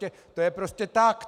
To je prostě tak!